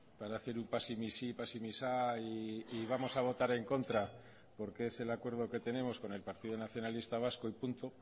para hacer un pasemisí pasemisá y vamos a votar en contra porque es el acuerdo que tenemos con el partido nacionalista vasco y punto